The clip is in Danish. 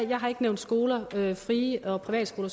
der er nogle fri og privatskoler